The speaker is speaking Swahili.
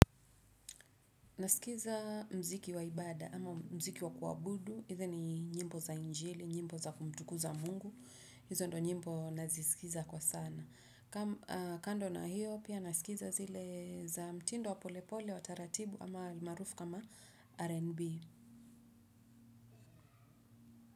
Nasikiza mziki wa ibada ama mziki wa kuabudu, Either ni nyimbo za njili, nyimbo za kumtuku za Mungu, hizo ndio nyimbo nazisikiza kwa sana. Kando na hiyo, pia nasikiliza zile za mtindo wa polepole wa taratibu ama marufu kama RNB.